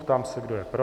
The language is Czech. Ptám se, kdo je pro.